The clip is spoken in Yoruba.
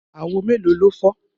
Àwo mélòó ló fọ́?